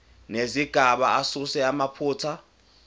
nezigaba asuse amaphutha